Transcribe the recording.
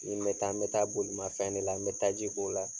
I ma taa, n bɛ taa bolimafɛn de la n bɛ taji k'o la.